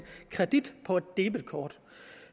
kredit på et debetkort